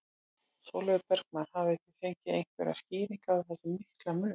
Sólveig Bergmann: Hafið þið fengið einhverjar skýringar á þessum mikla mun?